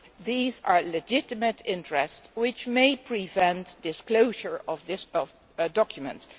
These are legitimate interests which may prevent disclosure of documents.